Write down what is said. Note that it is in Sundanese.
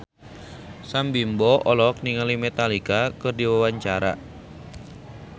Sam Bimbo olohok ningali Metallica keur diwawancara